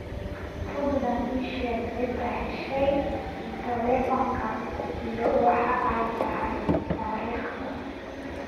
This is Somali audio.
fadlan ii sheeg cidda heshay teleefanka iyo waxa ay tahay taariikhda